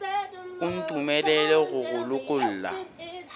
o ntumelele go go lokolla